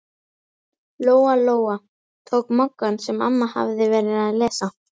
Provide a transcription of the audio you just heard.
Lóa-Lóa tók Moggann sem amma hafði verið að lesa.